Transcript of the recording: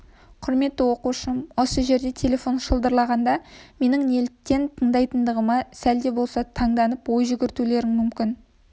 құрметті оқушым осы жерде телефон шылдырлағанда менің неліктен тыңдайтындығыма сәл де болса танданып ой жүгіртулерің мүмкін